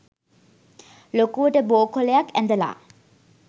ලොකුවට බෝ කොළයක් ඇඳලා